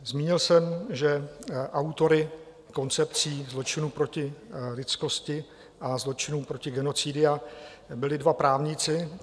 Zmínil jsem, že autory koncepcí zločinu proti lidskosti a zločinů proti genocidě byli dva právníci.